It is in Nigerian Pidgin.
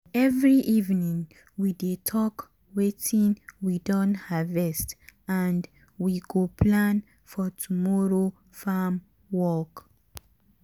every evening we dey talk wetin we don harvest and we go plan for tomorrow farm work.